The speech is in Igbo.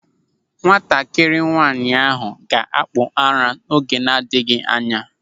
Nwatakịrị nwaanyị ahụ ga-akpụ ara n'oge na-adịghị anya.